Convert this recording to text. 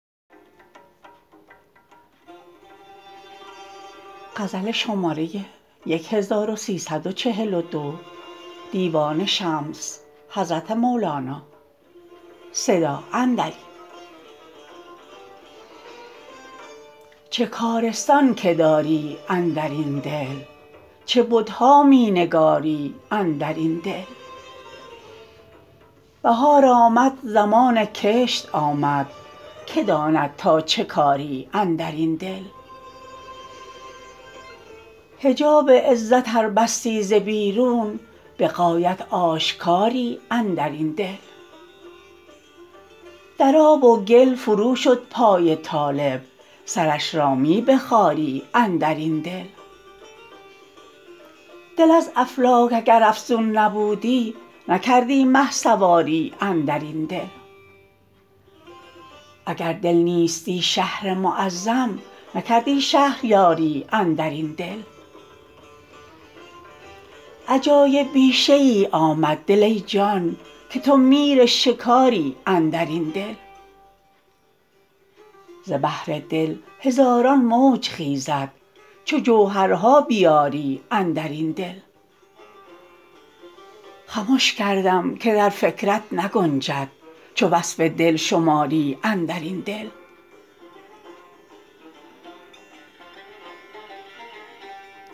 چه کارستان که داری اندر این دل چه بت ها می نگاری اندر این دل بهار آمد زمان کشت آمد کی داند تا چه کاری اندر این دل حجاب عزت ار بستی ز بیرون به غایت آشکاری اندر این دل در آب و گل فروشد پای طالب سرش را می بخاری اندر این دل دل از افلاک اگر افزون نبودی نکردی مه سواری اندر این دل اگر دل نیستی شهر معظم نکردی شهریاری اندر این دل عجایب بیشه ای آمد دل ای جان که تو میر شکاری اندر این دل ز بحر دل هزاران موج خیزد چو جوهرها بیاری اندر این دل خمش کردم که در فکرت نگنجد چو وصف دل شماری اندر این دل